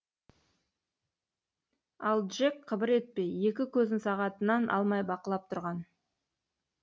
ал джек қыбыр етпей екі көзін сағатынан алмай бақылап тұрған